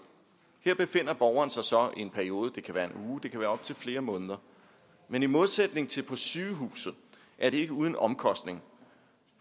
her befinder borgeren sig så i en periode det kan være en uge det kan være op til flere måneder men i modsætning til på sygehuset er det ikke uden omkostning